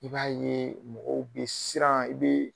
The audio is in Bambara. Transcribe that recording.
I b'a ye mɔgɔw bɛ siran i bɛ